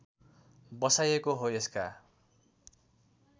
बसाइएको हो यसका